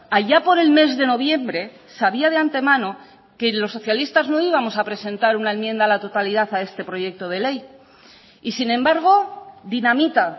allá por el mes de noviembre sabía de antemano que los socialistas no íbamos a presentar una enmienda a la totalidad a este proyecto de ley y sin embargo dinamita